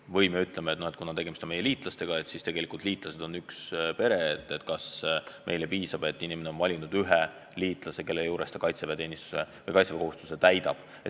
Või me ütleme, et kui tegemist on meie liitlasriigiga, siis liitlased on ju üks pere ja vahest meile piisab, et inimene on valinud, kummas riigis ta kaitseväekohustuse täidab.